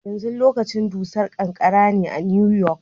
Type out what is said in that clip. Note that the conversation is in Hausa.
Yanzu lokacin dusar ƙanƙara ne a New York.